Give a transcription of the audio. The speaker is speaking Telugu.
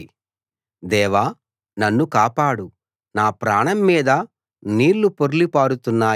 దేవా నన్ను కాపాడు నా ప్రాణం మీద నీళ్ళు పొర్లి పారుతున్నాయి